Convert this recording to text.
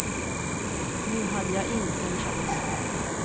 Nu hade jag inte en chans.